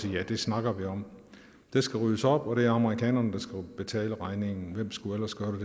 at ja det snakker vi om der skal ryddes op og det er amerikanerne der skal betale regningen hvem skulle ellers gøre